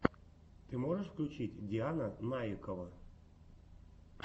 ты можешь включить диана наикова